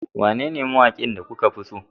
Wanene mawakin da kuka fi so